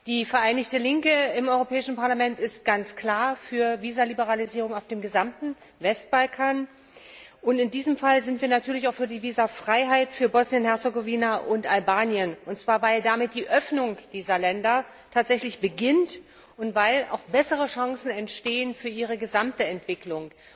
Die Vereinigte Linke im Europäischen Parlament ist ganz klar für eine Visaliberalisierung auf dem gesamten Westbalkan, und in diesem Fall sind wir natürlich auch für die Visafreiheit für Bosnien Herzegowina und Albanien, und zwar weil damit die Öffnung dieser Länder tatsächlich beginnt und weil auch bessere Chancen entstehen für ihre gesamte Entwicklung.